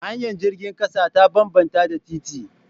Hanyar jirgin ƙasa ta bambanta da titi